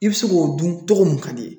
I bɛ se k'o dun cogo mun ka d'i ye